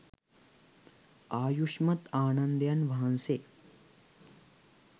ආයුෂ්මත් ආනන්දයන් වහන්සේ